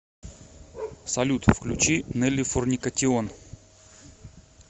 салют включи неллифорникатион